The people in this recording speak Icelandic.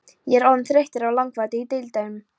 Ég er orðinn þreyttur á langvarandi illdeilum.